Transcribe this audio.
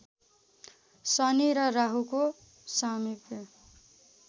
शनि र राहुको सामिप्य